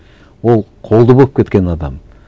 ол қолды болып кеткен адам